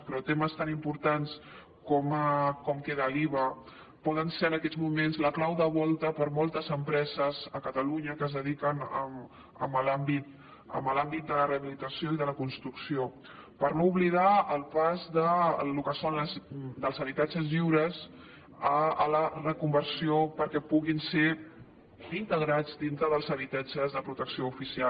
però temes tan importants com ara com queda l’iva poden ser en aquests moments la clau de volta per a moltes empreses a catalunya que es dediquen a l’àmbit de la rehabilitació i de la construcció per no oblidar el pas del que són els habitatges lliures a la reconversió perquè puguin ser integrats dintre dels habitatges de protecció oficial